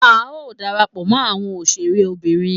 A o darapọ̀ mọ àwọn òṣèré Obìnrin